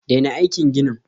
Daina aikin ginin!